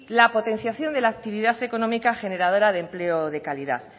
la potenciación de la actividad económica generadora de empleo de calidad